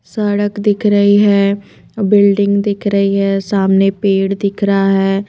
सड़क दिख रही है बिल्डिंग दिख रही है सामने पेड़ दिख रहा है।